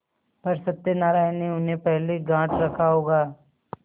पर सत्यनारायण ने उन्हें पहले गॉँठ रखा होगा